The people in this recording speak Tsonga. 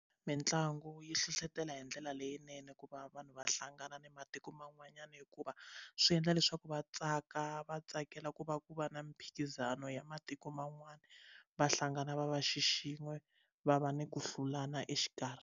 Mitlangu yi hlohlotela hi ndlela leyinene ku va vanhu va hlangana na matiko man'wanyana hikuva swi endla leswaku va tsaka va tsakela ku va ku va na miphikizano ya matiko man'wana va hlangana va va xi xin'we va va ni ku hlulana exikarhi.